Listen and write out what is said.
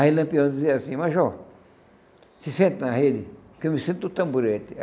Aí o Lampião dizia assim, Major, se sente na rede, que eu me sento no tamborete.